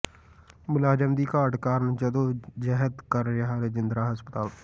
ਮੁਲਾਜ਼ਮਾਂ ਦੀ ਘਾਟ ਕਾਰਨ ਜੱਦੋ ਜਹਿਦ ਕਰ ਰਿਹਾ ਰਜਿੰਦਰਾ ਹਸਪਤਾਲ